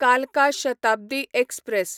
कालका शताब्दी एक्सप्रॅस